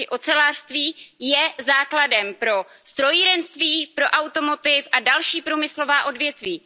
Ocelářství je základem pro strojírenství, pro a další průmyslová odvětví.